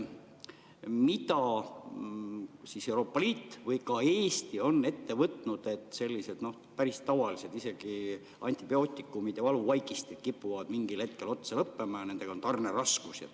Mida siis Euroopa Liit või ka Eesti on ette võtnud, kui sellised päris tavalised ravimid nagu antibiootikumid ja valuvaigistid kipuvad mingil hetkel otsa lõppema ja nendega on tarneraskusi?